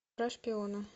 про шпиона